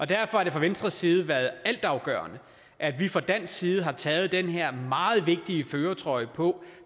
derfor har det fra venstres side været altafgørende at vi fra dansk side har taget den her meget vigtige førertrøje på